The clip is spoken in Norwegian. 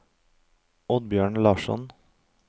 Oddbjørn Larsson